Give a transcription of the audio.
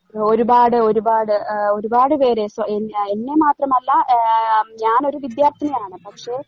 ഒരുപാട് ഒരുപാട് ഏഹ് ഒരുപാട് പേര് സ്വ എന്നി എന്നെ മാത്രമല്ല ഏഹ് ആ ഞാനൊരു വിദ്യാർത്ഥിനിയാണ് പക്ഷേ